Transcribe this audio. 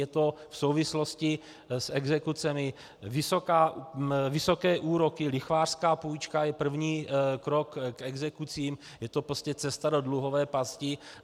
Je to v souvislosti s exekucemi, vysoké úroky, lichvářská půjčka je první krok k exekucím, je to prostě cesta do dluhové pasti.